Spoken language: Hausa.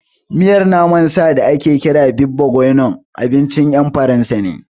Miyan naman sa da ake kira beef bourguignon abincin ƴan Faransa ne